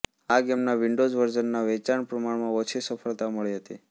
આ ગેમના વિન્ડોસ વર્ઝનના વેચાણને પ્રમાણમાં ઓછી સફળતા મળી હતી